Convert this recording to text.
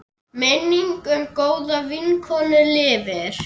Minning um góða vinkonu lifir.